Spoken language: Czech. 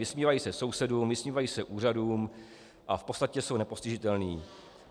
Vysmívají se sousedům, vysmívají se úřadům a v podstatě jsou nepostižitelní.